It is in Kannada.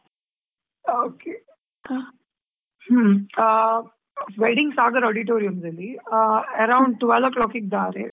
Okay . ಹ್ಮ್‌ ಆ wedding sagar auditorium ಅಲ್ಲಿ ಆ around twelve o' clock ಇಗ್ ದಾರೆ.